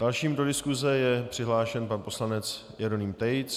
Dalším do diskuse je přihlášen pan poslanec Jeroným Tejc.